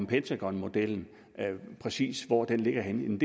pentagonmodellen og præcis hvor den ligger henne